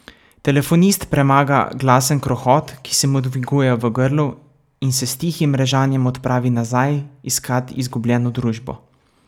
Telefonist premaga glasen krohot, ki se mu dviguje v grlu, in se s tihim režanjem odpravi nazaj, iskat izgubljeno družbo.